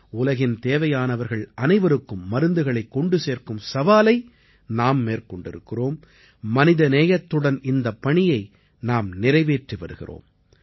உலகின் தேவையானவர்கள் அனைவருக்கும் மருந்துகளைக் கொண்டு சேர்க்கும் சவாலை நாம் மேற்கொண்டிருக்கிறோம் மனிதநேயத்துடன் இந்தப் பணியை நாம் நிறைவேற்றி வருகிறோம்